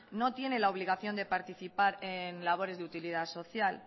no tiene la obligación de participar en labores de utilidad social